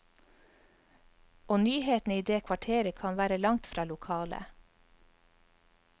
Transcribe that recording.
Og nyhetene i det kvarteret kan være langtfra lokale.